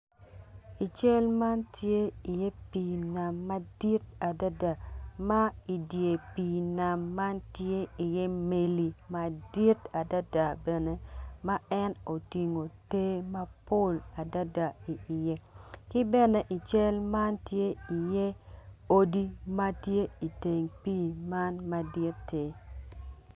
Ical man tye pii nam madit adada ma i dye pii nam man tye meli madit adada ma en otingo te madit dada iye. Ki bene i cal man tye iye odi ma tye i teng pii man maditti.